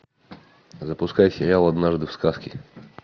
запускай сериал однажды в сказке